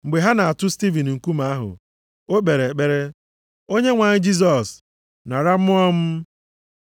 Mgbe ha na-atụ Stivin nkume ahụ, o kpere ekpere, “Onyenwe anyị Jisọs, nara mmụọ m.”